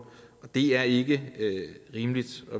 og det er ikke rimeligt